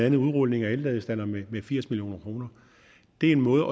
en udrulning af elladestandere med firs million kroner det er en måde